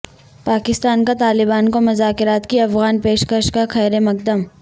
پاکستان کا طالبان کو مذاکرات کی افغان پیش کش کا خیر مقدم